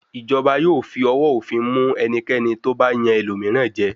Ìjọba yóò fi owó òfin mú ẹnikẹ́ni tó bá yan ẹlòmíràn jẹ.